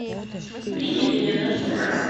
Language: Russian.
приняли ли наш заказ